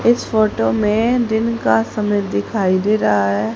इस फोटो में दिन का समय दिखाई दे रहा है।